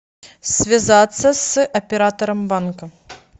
связаться с оператором банка